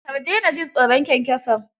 Kar dena jin tsoron kyankyason.